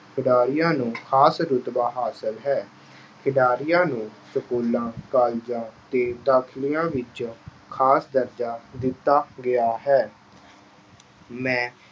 ਖਿਡਾਰੀਆਂ ਨੂੰ ਖਾਸ ਰੁਤਬਾ ਹਾਸਲ ਹੈ। ਖਿਡਾਰੀਆਂ ਨੂੰ schools, colleges, ਤੇ ਦਾਖਲਿਆਂ ਵਿੱਚ ਖਾਸ ਦਰਜਾ ਦਿੱਤਾ ਗਿਆ ਹੈ। ਮੈਂ